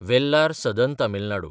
वेल्लार (सदन तमील नाडू)